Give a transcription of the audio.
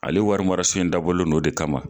Ale warimarasen in dabɔlen don o de kama